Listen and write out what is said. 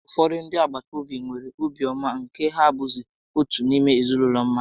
Ụfọdụ ndị agbataobi nwere obi ọma nke na ha bụzị otu n'ime ezinaụlọ mmadụ